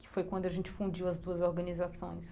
Que foi quando a gente fundiu as duas organizações.